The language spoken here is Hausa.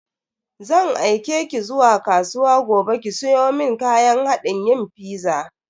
Zan aike ki zuwa kasuwa gobe ki siyo mun kayan hadin yin fiza.